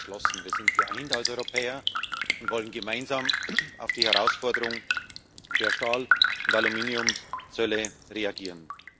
Wir sind geschlossen, wir sind geeint als Europäer und wollen gemeinsam auf die Herausforderung der Zölle auf Stahl und Aluminium reagieren.